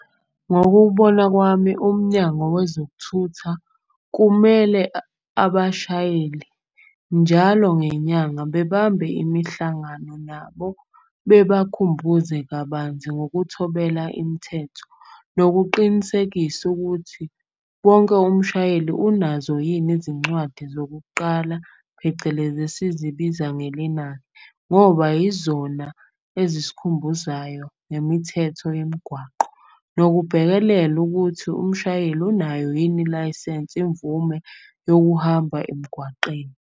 Ngokubona kwami, Umnyango Wezokuthutha kumele abashayeli njalo ngenyanga bebambe imihlangano nabo. Bebakhumbuze kabanzi ngokuthobela imthetho nokuqinisekisa ukuthi wonke umshayeli unazo yini. Izincwadi zokuqala phecelezi esizibiza ngoba izona ezisikhumbuzayo ngemithetho yemgwaqo. Nokubhekelela ukuthi umshayeli unayo yini ilayisensi, imvume yokuhamba emgwaqeni.